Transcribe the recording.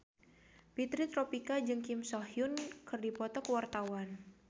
Fitri Tropika jeung Kim So Hyun keur dipoto ku wartawan